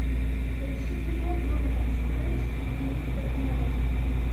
поищи кино джонатан стрендж и мистер норрелл